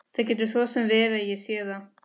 Það getur svo sem verið að ég sé það.